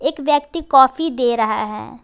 एक व्यक्ति काफी दे रहा है।